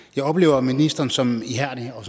jeg oplever ministeren som ihærdig og